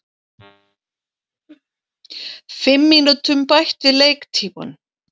Fimm mínútum bætt við leiktímann